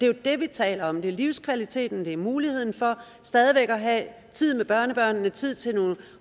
jo det vi taler om det er livskvaliteten det er muligheden for stadig væk at have tid med børnebørnene tid til